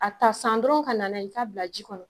A ta san dɔrɔnw ka na n'a ye k'a bila ji kɔnɔ.